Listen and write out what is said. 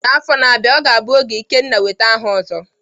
N'afọ na-abịa, ọ ga-abụ oge Ikenna nweta aha Ozo.